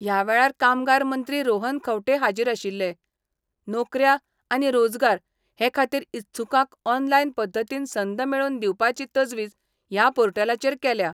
ह्या वेळार कामगार मंत्री रोहन खंवटे हाजीर आशिल्ले नोकऱ्या आनी रोजगार हे खातीर इत्सुकांक ऑनलायन पध्दतीन संद मेळोवन दिवपाची तजवीज ह्या पोर्टलाचेर केल्या.